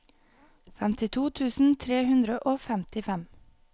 femtito tusen tre hundre og femtifem